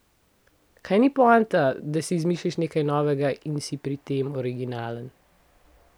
Kaj ni poanta, da si izmisliš nekaj novega in si pri tem originalen?